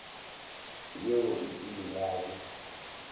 yeo e ile ya be